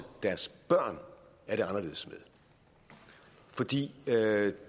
deres børn er det anderledes med fordi